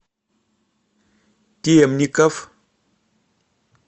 темников